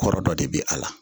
Kɔrɔ dɔ de bɛ a la